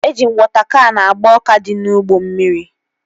Eji m wọta kan agba ọka dị n'ugbo mmiri